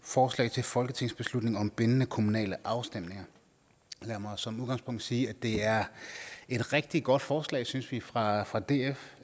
forslag til folketingsbeslutning om bindende kommunale afstemninger lad mig som udgangspunkt sige at det er et rigtig godt forslag synes vi fra fra df